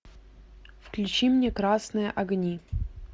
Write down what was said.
включи мне красные огни